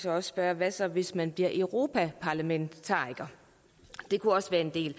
også spørge hvad så hvis man bliver europaparlamentariker det kunne også være en del